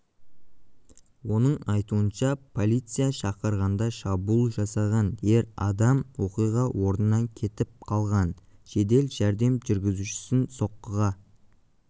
оның айтуынша полиция шақырғанда шабуыл жасаған ер адам оқиға орнынан кетіп қалған жедел жәрдем жүргізушісін соққыға